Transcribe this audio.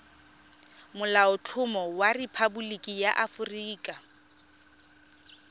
molaotlhomo wa rephaboliki ya aforika